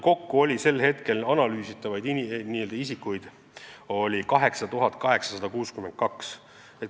Kokku oli sel hetkel analüüsitavaid isikuid 8862.